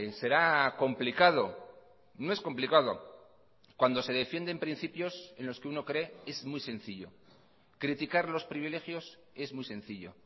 será complicado no es complicado cuando se defienden principios en los que uno cree es muy sencillo criticar los privilegios es muy sencillo